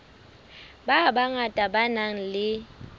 ba bangata ba nang le